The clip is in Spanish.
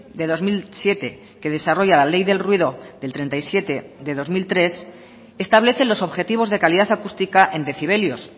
de dos mil siete que desarrolla la ley del ruido del treinta y siete barra dos mil tres establece los objetivos de calidad acústica en decibelios